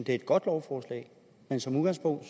er et godt lovforslag men som udgangspunkt